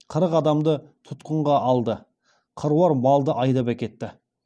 қырық адамды тұтқынға алды қыруар малды айдап әкетті